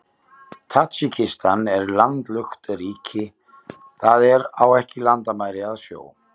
Tadsjikistan er landlukt ríki, það er á ekki landamæri að sjó.